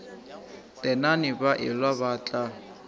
tenane ba elwa ba tla